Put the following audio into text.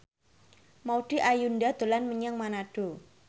Maudy Ayunda dolan menyang Manado